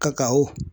Kaka o